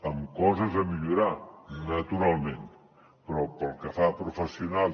amb coses a millorar naturalment però pel que fa a professionals